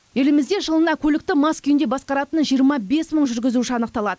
елімізде жылына көлікті мас күйінде басқаратын жиырма бес мың жүргізуші анықталады